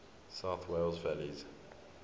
south wales valleys